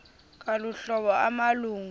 ngolu hlobo amalungu